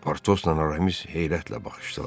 Portosla Aramis heyrətlə baxışdılar.